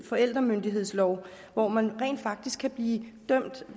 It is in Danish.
forældremyndighedslov hvor man rent faktisk kan blive dømt